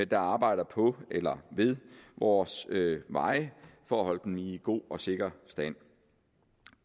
der arbejder på eller ved vores veje for at holde dem i god og sikker stand